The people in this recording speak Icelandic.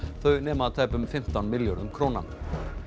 þau nema tæpum fimmtán milljörðum króna